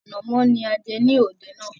Ànàmọ́ ni a jẹ ní òde náà